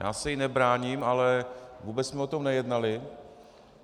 Já se jí nebráním, ale vůbec jsme o tom nejednali.